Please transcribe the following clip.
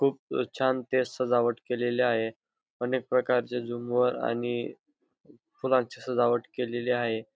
खूप छान ते सजावट केलेले आहे अनेक प्रकारचे झुंबर आणि फुलांची सजावट केलेली आहे.